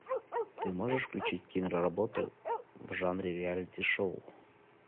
ты можешь включить киноработу в жанре реалити шоу